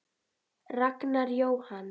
Ragnar Jóhann.